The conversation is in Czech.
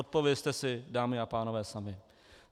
Odpovězte si, dámy a pánové, sami.